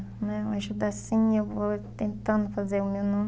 Uma ajuda assim, eu vou tentando fazer o meu nome.